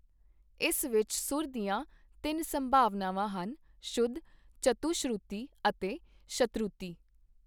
ਇਸ ਵਿਚ ਸੁਰ ਦੀਆਂ ਤਿੰਨ ਸੰਭਾਵਨਾਵਾਂ ਹਨ- ਸ਼ੁੱਧ, ਚਤੁਸ਼ਰੁਤੀ ਅਤੇ ਸ਼ਤਰੂਤੀ।